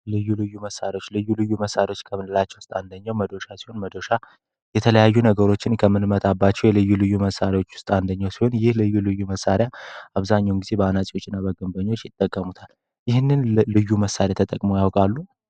ልዩ ልዩ መሣሪዎች ልዩ ልዩ መሣሪዎች ከምንላቸው ውስጥ አንደኛው መዶሻ ሲሆን መዶሻ የተለያዩ ነገሮችን ከምንመታባቸው የልዩ ልዩ መሣሪዎች ውስጥ አንደኛው ሲሆን ይህ ልዩ ልዩ መሣሪያ አብዛኛን ጊዜ በአናጲዎች እና በግንበኞች ይጠገሙታል። ይህን ልዩ መሣሪያ ተጠቅመው ያውቃሉ?